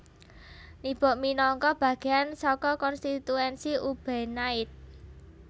Nibok minangka bagéan saka konstituensi Ubenide